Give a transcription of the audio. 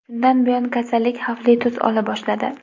Shundan buyon kasallik xavfli tus ola boshladi.